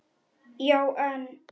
Já, en.